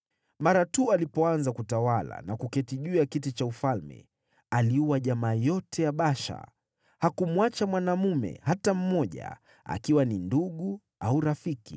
Mara tu alipoanza kutawala na kuketi juu ya kiti cha ufalme, aliua jamaa yote ya Baasha. Hakumwacha mwanaume hata mmoja, akiwa ni ndugu au rafiki.